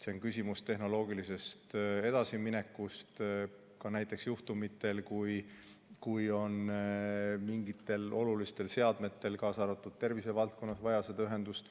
See on küsimus tehnoloogilisest edasiminekust, ka näiteks juhtumitel, kui mingitel olulistel seadmetel, kaasa arvatud tervisevaldkonnas, on vaja seda ühendust.